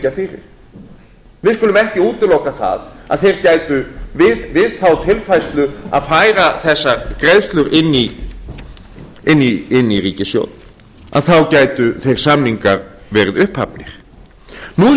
fyrir við skulum ekki útiloka það að við þá tilfærslu að færa þessar greiðslur inn í ríkissjóð þá gætu þeir samningar verið upphafnir nú er